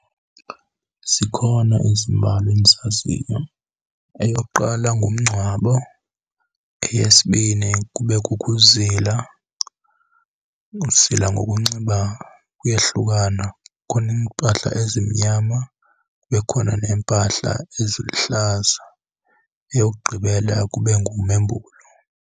Zikhona ezimbalwa endizaziyo. Eyokuqala ngumngcwabo. Eyesibini kube kukuzila. Ukuzila ngokunxiba kuyehlukana, kukhona iimpahla ezimnyama, kube khona neempahla eziluhlaza. Eyokugqibela kube ngumembulo.